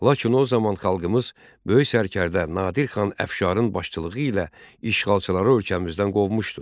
Lakin o zaman xalqımız böyük sərkərdə Nadir xan Əfşarın başçılığı ilə işğalçıları ölkəmizdən qovmuşdu.